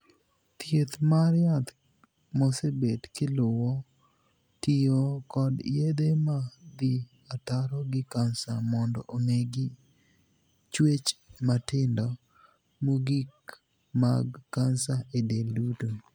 Thieth mar yath mosebet kiluwo tiyo kod yedhe ma dhii ataro gi kansa mondo onegi chuech matindo mogikmag kansa e del duto.